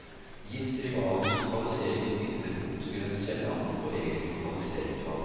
Gitt rivalens lokalisering i et ytterpunkt, vil en selv angre på eget lokaliseringsvalg.